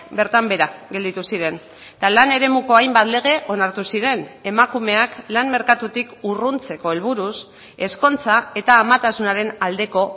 bertan behera gelditu ziren eta lan eremuko hainbat lege onartu ziren emakumeak lan merkatutik urruntzeko helburuz ezkontza eta amatasunaren aldeko